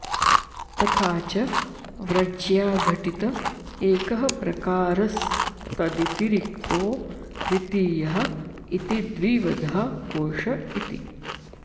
तथा च व्रज्याघटित एकः प्रकारस्तदतिरिक्तो द्वितीयः इति द्विविधः कोष इति